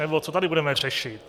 Nebo co tady budeme řešit?